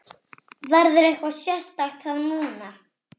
Verður eitthvað sérstakt þá núna?